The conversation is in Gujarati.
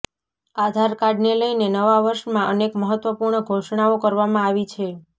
આધાર કાર્ડને લઇને નવા વર્ષમાં અનેક મહત્વપૂર્ણ ઘોષણાઓ કરવામાં આવી છે